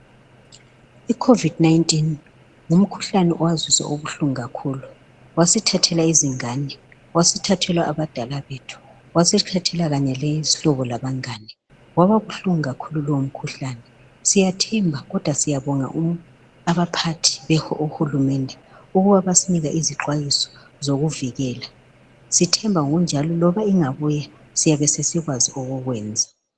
i COVID 19 ngumkhuhlane owasizwisa ubuhlungu kakhulu ngumkhuhlane owasithathela izingane wasithathela abadala bethu wasithahela kanye lezihlobo labangane wababuhlungu kakhulu lowo mkhuhlane siyathemba kodwa siyabonga abaphathi bakahulumunde ukuba basinika izixwayiso zokuvikela sithemba ngokunjalo loba ingabuya siyabe sesikwazi okokwenza